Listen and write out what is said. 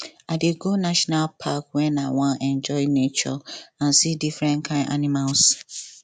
i dey go national park wen i wan enjoy nature and see different kain animals